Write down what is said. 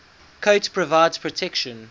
coat provides protection